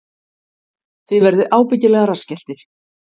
Þið verðið ábyggilega rassskelltir